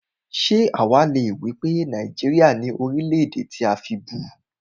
Ṣé àwá le wípé Nàìjíríà ni Orílè-èdè tí a fibú?